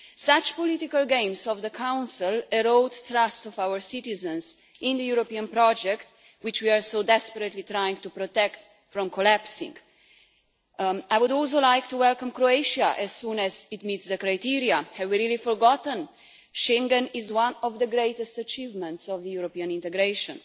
Such political games by the Council erode the trust of our citizens in the European project, which we are so desperately trying to protect from collapsing. I would also like to welcome Croatia as soon as it meets the criteria. Have we really forgotten that Schengen is one of the greatest achievements of the European integration?